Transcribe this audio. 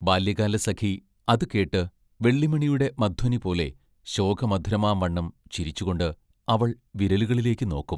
ബാല്യകാലസഖി അതു കേട്ട് വെള്ളിമണിയുടെ മധ്വനിപോലെ ശോകമധുരമാംവണ്ണം ചിരിച്ചുകൊണ്ട് അവൾ വിരലുകളിലേക്ക് നോക്കും.